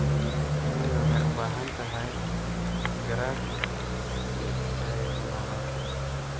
Shinnidu waxay u baahan tahay garaad si ay u noolaato.